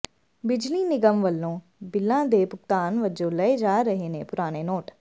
ਬਿਜਲੀ ਨਿਗ਼ਮ ਵੱਲੋਂ ਬਿੱਲਾਂ ਦੇ ਭੁਗਤਾਨ ਵਜੋਂ ਲਏ ਜਾ ਰਹੇ ਨੇ ਪੁਰਾਣੇ ਨੋਟ